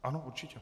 Ano, určitě.